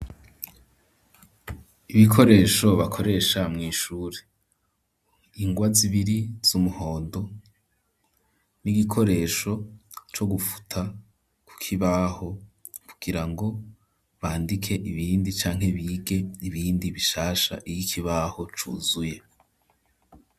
Ibikoresho bakoresha mw'ishure, ingwa zibiri z'umuhondo, n'igikoresho co gufuta ku kibaho, kugirango bandike ibindi canke bige ibindi bishasha, iyo ikibaho cuzuye.